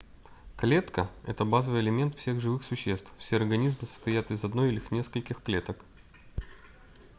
клетка это базовый элемент всех живых существ все организмы состоят из одной или нескольких клеток